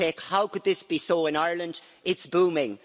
You say, How could this be so in Ireland it's booming?'